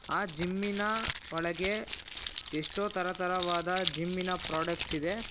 Gym ನ ಒಳಗೆ ಎಷ್ಟೋ ತರತರವಾದ ಜಿಮ್ ನ ಪ್ರಾಡಕ್ಟ್ಸ್ ಇದೆ.